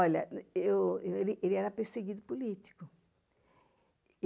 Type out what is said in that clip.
Olha, ele era perseguido político.